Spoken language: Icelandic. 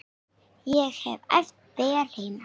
Ég hef æft vel heima.